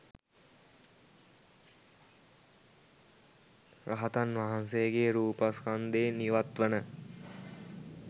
රහතන් වහන්සේගේ රූපස්කන්ධයෙන් ඉවත්වන